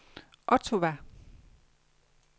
Ottawa